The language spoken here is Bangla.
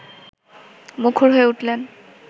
মুখর হয়ে উঠলেন